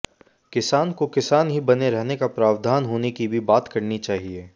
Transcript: किसान को किसान ही बने रहने का प्रावधान होने की भी बात करनी चाहिए